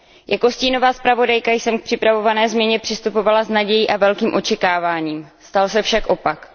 Jako stínová zpravodajka jsem k připravované změně přistupovala s nadějí a velkým očekáváním, stal se však opak.